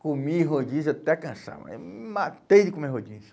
Comi rodízio até cansar, mas me matei de comer rodízio.